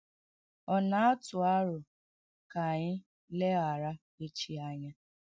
Ọ̀ na-atụ́ àrọ̀ ka anyị legharà échi ánya?